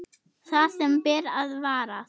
Það sem ber að varast